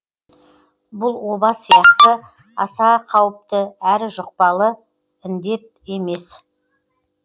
бұл оба сияқты аса қауіпті әрі жұқпалы індет емес